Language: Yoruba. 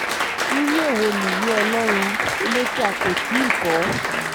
irú èwo nìyí ọlọ́run ilé tí a kò tí ì kọ́